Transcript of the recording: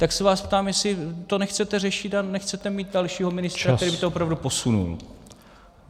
Tak se vás ptám, jestli to nechcete řešit a nechcete mít dalšího ministra, který by to opravdu posunul.